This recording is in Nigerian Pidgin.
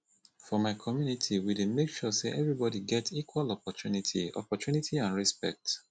for my community we dey make sure sey everybodi get equal opportunity opportunity and respect